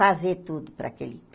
Fazer tudo para aquele